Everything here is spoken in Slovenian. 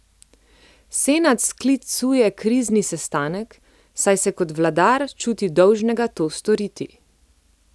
Senad sklicuje krizni sestanek, saj se kot vladar čuti dolžnega to storiti.